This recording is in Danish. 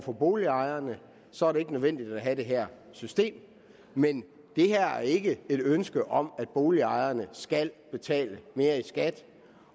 for boligejerne så er det ikke nødvendigt at have det her system men det her er ikke et ønske om at boligejerne skal betale mere i skat